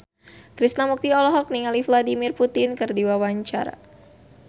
Krishna Mukti olohok ningali Vladimir Putin keur diwawancara